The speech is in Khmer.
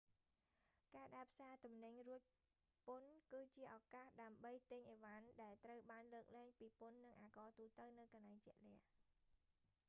ការដើរផ្សារទំនិញរួចពន្ធគឺជាឱកាសដើម្បីទិញឥវ៉ាន់ដែលត្រូវបានលើកលែងពីពន្ធនិងអាករទូទៅនៅកន្លែងជាក់លាក់